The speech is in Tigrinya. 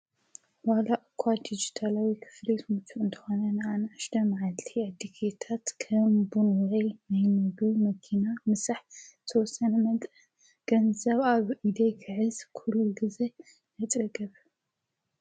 ዋላ እኳ ዲጅታላዊ ክፍሊት እንተኾነ ንኣናእሽተይ መዓልቲታት ድልየታት ከም ቡን፣ ምግቢ፣ መኪና፣ ምሳሕ፣ ተወሰነ መጠን ገንዘብ ኣብ ኢደይ ክሕልዝ ኲሉ ጊዜ ይፅገም፡፡